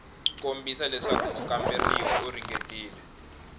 kombisa leswaku mukamberiwa u ringetile